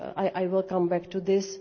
I will come back to this.